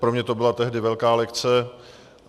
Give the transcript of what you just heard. Pro mě to byla tehdy velká lekce.